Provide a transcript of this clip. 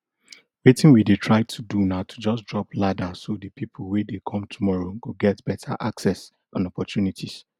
wetin we dey try do na to just drop ladder so di pipo wey dey come tomorrow go get beta access and opportunities